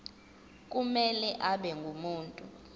kumele abe ngumuntu